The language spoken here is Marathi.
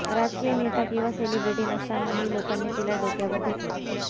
राजकीय नेता किंवा सेलिब्रेटी नसतानाही लोकांनी तिला डोक्यावर घेतलं